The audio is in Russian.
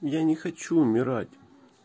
я не хочу умирать